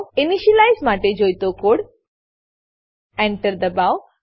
initialise માટે જોઈતો code Enter દબાવો